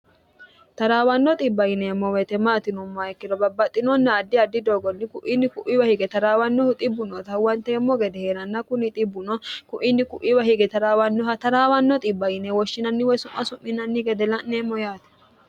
taraawanno xibba yineemmo weete maati yinomma ikkiro babbaxxinonna addi addi doogonni ku'iinni ku'iiwa hige taraawannohu xibbu noota hwanteemmo gede hee'ranna kuni xibbno ku'inni ku'iwa hige taraawannoha taraawanno xibba yine woshshinanni woy su'ma su'minnni gede la'neemmo yaati